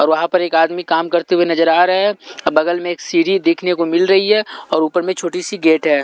और वहां पर एक आदमी काम करते हुए नजर आ रहे है बगल में एक सीढ़ी देखने को मिल रही है और ऊपर में छोटी सी गेट है।